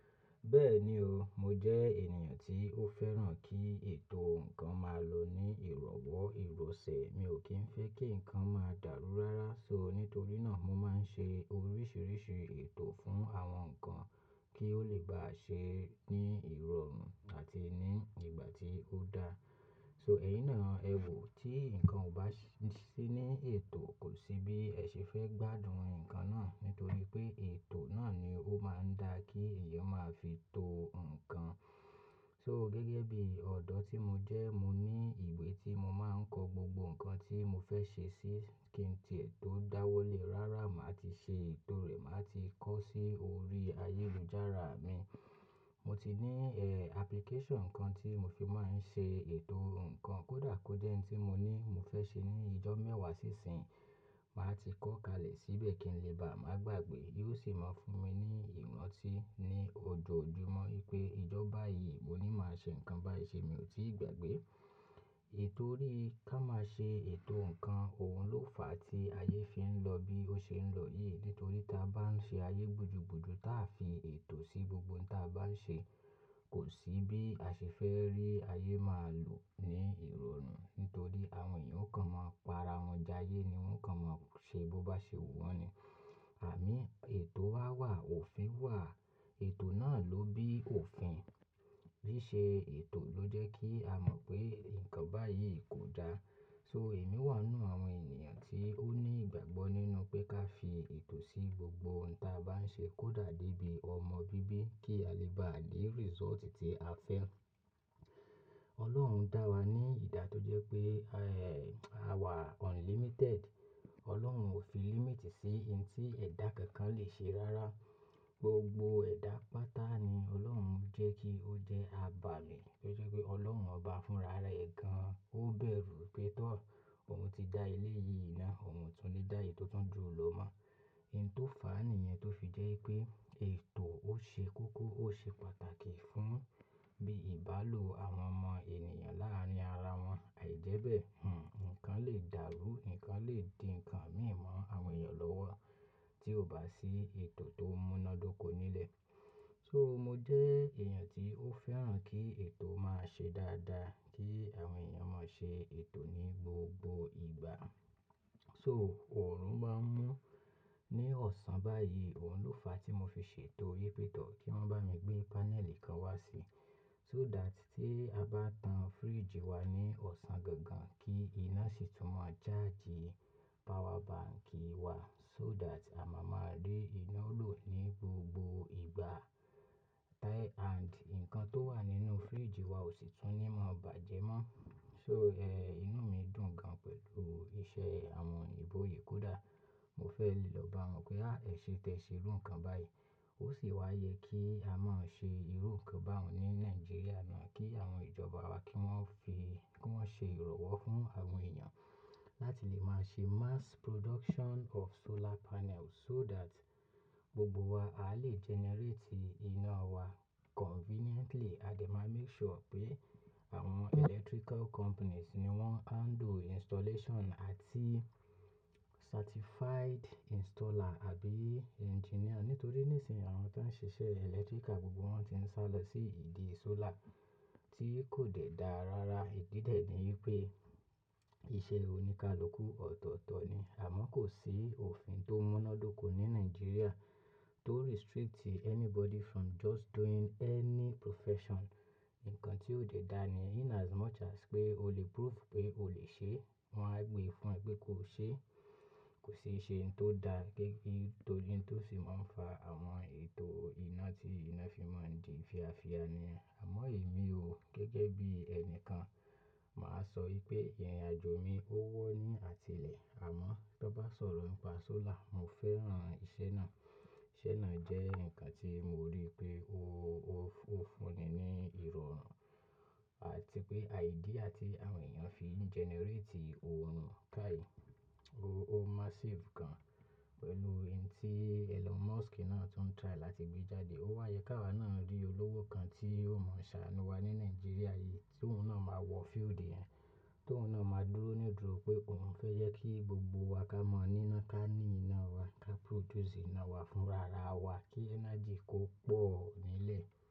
Bẹ́ẹ̀ni o, mo jẹ́ ènìyàn tí ó fẹ́ràn kí ètò nǹkan máa lọ ní ìrọ̀wọ́, ìròsẹ̀. Mi ò kí ń fẹ́ kí nǹkan máa dàrú rárá. So nítorí náà mo máa ń ṣe oríṣiríṣi ètò fún àwọn nǹkan kí ó lè bá ṣe é ní ìrọ̀rùn àti ní ìgbà tí ó daá. So ẹ̀yin náà ẹ wò, tí nǹkan ò bá sí ní ètò kò sí bí ẹ ṣe fẹ́ gbádùn ǹkan náà. Nítorí pé ètò náà ni ó máa ń dá kí èèyàn máa fi to o nǹkan. So gẹ́gẹ́ bí ọ̀dọ́ tí mo jẹ́, mo ní ìwé ti mo máa ń kọ gbogbo nǹkan tí mo fẹ́ ṣe sí kí n tí è tò dáwọ́lé rárá máa ti ṣe ètò rẹ̀, máa ti kọ́ sí orí ayélujára mi. Mo ti ní, eh, application kan tí mo fi máa ń ṣe ètò nǹkan kó dà kó jẹ́ iń tí mo ní mo fẹ́ ṣe ní ijọ́ mẹ́wàá sí ìsín yìí, màá ti kọ́ kalẹ̀ síbẹ̀ kí n lè bá a máa gbàgbé. Yóò sì máa fún mi ní ìranti ní ojoojúmọ́ wípé ijọ́ báyìí mo ní máa ṣe nǹkan báyìí ṣe mi ò tíì gbàgbé. Ètò rí, ká máa ṣe ètò nǹkan, òhun ló fà á tí ayé fi ń lọ bí ó ṣe ń lọ yìí. Nítorí tí a bá ń ṣe ayé gbudú gbudú táa fi ètò sí gbogbo n tí a bá ń ṣe, kò sí bí a ṣe fẹ́ rí ayé máa lọ ní ìrọ̀rùn. Nítorí àwọn èèyàn ó kan máa pa ara wọn jayé ni wọ́n kan máa ṣe bó bá ṣe wù wọ́n ni. Ìgbà mí ètò wa wà, òfin wà, ètò náà ló bí òfin. Bísẹ ètò ló jẹ́ kí a mọ̀ pé nǹkan báyìí kò dá. So èmi wà n nú àwọn ènìyàn tí ó ní ìgbàgbọ́ nínú pé ká fi ètò sí gbogbo n tí a bá ń ṣe kódà dé bí ọmọ bíbí kí a lè bá rí result tí a fẹ́. Ọlọ́run dá wa ní ìdá tó jẹ́ pé, eh, àwa unlimited. Ọlọ́run ò fi limit sí n tí ẹ̀dá kankan lè ṣe rárá. Gbogbo ẹ̀dá pátá ni Ọlọ́run jẹ́ kí ó jẹ́ abàmì tó jẹ́ pé Ọlọ́run ọba fúnra rẹ gan-an. Ó bẹ̀rù pé tọ́ ọ, òhun ti dá eléyìí ná, òhun o tún lè dá èyí tó tun jù ló mọ́. Ohun tó fà á nìyẹn tó fi jẹ́ pé ètò ó ṣe kókó, ó ṣe pàtàkì fún bí ìbálò àwọn ọmọ ènìyàn láàárín ara wọn. Ìjẹ́bẹ̀, hm, nǹkan lè dàrú, nǹkan lè di ǹkan mìí mọ́ àwọn èèyàn lọ́wọ́ tí ò bá sí ètò tó múnádóko nílẹ̀. So mo jẹ́ èèyàn tí ó fẹ́ràn kí ètò máa ṣe dáadáa, kí àwọn èèyàn máa ṣe ètò ní gbogbo ìgbà. So òòrùn máa ń mú ní ọ̀sán bá yìí, òhun ló fà á tí mo fi ṣètò wipé tọ́ kí wọ́n bá mi gbé panel kan wá sí. So that tí a bá tan fridge wá ní ọ̀sán gangan kí iná sì tún mọ charge power bank wá. So that à máa máa rí iná lò ní gbogbo ìgbà. Tai and nǹkan tó wà nínú fridge wá ò sì tún ní mọ̀ bàjẹ́ mọ́. So, eh, inú mi dùn gan pẹ̀lú iṣẹ́ àwọn oyìbò yi kó dà. Mo fẹ́ lè lọ bá wọn pé, "Ah ẹ ṣe tẹ ṣe irú nǹkan bá yìí." Ó sì waá yé kí a máa ṣe irú nǹkan báun ní Nigeria náà kí àwọn ìjọba wa kí wọ́n fi, kí wọ́n ṣe ìrànwọ́ fún àwọn èèyàn láti lè máa ṣe mass production of solar panel so that gbogbo wa a lè generate iná wa conveniently. A dẹ̀ máa make sure pé àwọn electrical companies ni wọ́n handle installation àti certified installer àbí engineer. Nítorí nísìn àwọn tó ń ṣiṣẹ́ electrical gbogbo wọ́n ti ń sálọ sí ìdí solar tí kò dè dáa rárá. Ìdí dẹ̀ ni wípé iṣẹ́ oníkálukú ọ̀tọ̀ọ̀tọ̀ ni. Àmọ́ kò sí òfin tó múnádóko ní Nigeria tó restrict anybody from just doing any profession. Nǹkan tí ó dè dáa ni in as much as pé o lè prove pé o lè ṣe é, wọ́n á gbe fún ẹ pé ko ṣe é. Kò sií ṣe ohun tó dáa gẹ́gẹ́ bi tó lin tó sì máa ń fa àwọn ètò iná tí iná fi máa ń di fiafia ni. Àmọ́ èmi o, gẹ́gẹ́ bí ẹni kan, màá sọ wípé ìrìnàjò mi ó wọ́ ní àti ilẹ̀. Àmọ́ tó bá sọ̀rọ̀ n pa solar, mo fẹ́ràn iṣẹ́ náà. Iṣẹ́ náà jẹ́ nǹkan tí mo rí pé ó, ó, ó fúnni ní ìrọ̀rùn àti pé idea tí àwọn èèyàn fi ń generate òòrùn káyì, o, ó massive gan pẹ̀lú ohun tí Elon Musk náà tún try láti gbé jáde. Ó wáa yé ki áwa náà rí olówó kan tí ó mọ̀ ṣàánú wa ní Nigeria yìí tí òhun náà máa wọ field yẹn, tí òun náà máa dúró nídùró pé òhun fẹ́ jẹ́ kí gbogbo wa ká mọ̀ ní iná, ká ní iná wa, ká produce iná wa fúnra ara wa kí energy kó pọ̀ nílẹ̀.